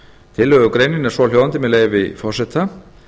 tillögugreinin er svohljóðandi með leyfi forseta